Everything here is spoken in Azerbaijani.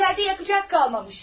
İçəridə yanacaq qalmamış.